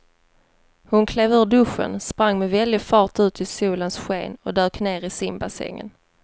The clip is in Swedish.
Hon klev ur duschen, sprang med väldig fart ut i solens sken och dök ner i simbassängen.